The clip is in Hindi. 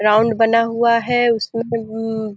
ग्राउंड बना हुआ है उसमे --